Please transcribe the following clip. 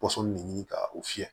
Pɔsɔn ne ɲini ka u fiyɛ